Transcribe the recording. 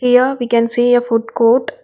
Here we can see a food court.